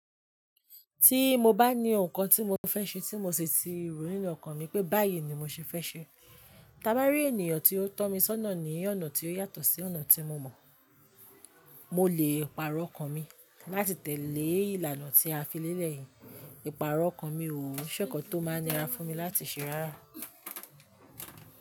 Tí mo bá ní ohun kan tí mo fẹ́ ṣe tí mo sì ti rò nínú ọkàn mi pé báyìí ni mo ṣe fẹ́ ṣe, ta bá rí ènìyàn tí ó tọ́ mi sọ́nà ní ọ̀nà tí ó yàtọ̀ sí ọ̀nà tí mo mọ̀, mo lè pàrọ̀ ọkàn mi láti tẹ̀lé ìlànà tí a fi lélẹ̀ yìí. Ìpàrọ̀ ọkàn mi ò n ṣẹ́kan tó máa n nira fún mi láti ṣe rárá.